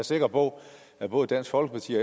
sikker på at både dansk folkeparti